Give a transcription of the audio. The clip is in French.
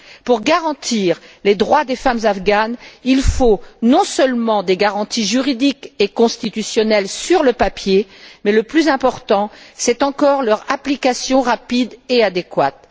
Pour garantir les droits des femmes afghanes, il faut non seulement des garanties juridiques et constitutionnelles sur le papier, mais le plus important c'est encore leur application rapide et adéquate.